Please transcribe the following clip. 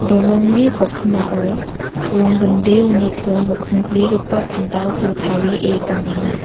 dolongni kokimao ronggindeoniko nokkingo grigipa pandalni tarie donenga.